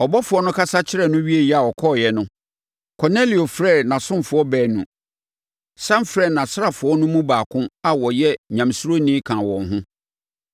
Ɔbɔfoɔ no kasa kyerɛɛ no wieeɛ a ɔkɔeɛ no, Kornelio frɛɛ nʼasomfoɔ baanu, sane frɛɛ nʼasraafoɔ no mu baako a ɔyɛ Nyamesuroni kaa wɔn ho,